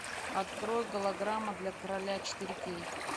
открой голограмма для короля четыре кей